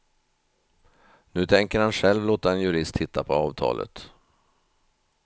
Nu tänker han själv låta en jurist titta på avtalet.